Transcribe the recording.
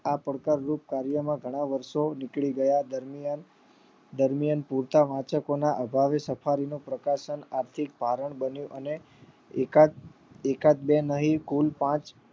આ પડકાર વૃત કાર્ય તેમાં ઘણા વર્ષો નીકળી ગયા દરમિયાન દરમિયાન પોતાના વાચકો ના અભાવે સફારી નો પ્રકાશન આથી કારણ બન્યું અને એકાદ એકાદ બે નહી કુલ પાંચ